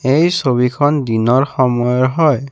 এই ছবিখন দিনৰ সময়ৰ হয়।